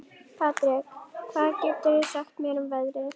Patrek, hvað geturðu sagt mér um veðrið?